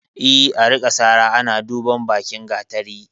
E, a rika sara ana duban bakin gatari.